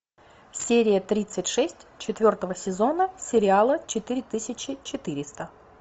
серия тридцать шесть четвертого сезона сериала четыре тысячи четыреста